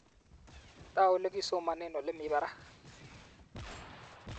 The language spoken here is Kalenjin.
Tau olekisomane olemi barak